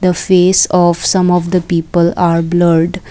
face of some of the people are blurred.